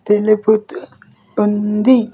తెలుపుతూ ఉంది.